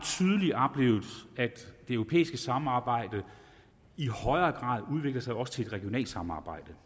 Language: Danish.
det europæiske samarbejde i højere grad udvikler sig til også et regionalt samarbejde